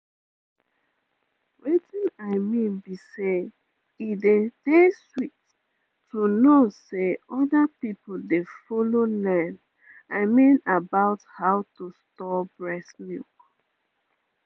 wetin i mean be say e dey dey sweet to know say other people dey follow learn i mean about how to store breast milk